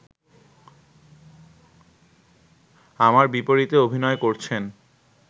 আমার বিপরীতে অভিনয় করছেন